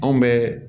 Anw bɛ